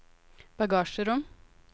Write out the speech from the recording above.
bagasjerom